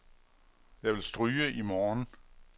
Jeg vil stryge i morgen.